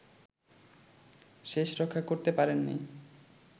শেষরক্ষা করতে পারেননি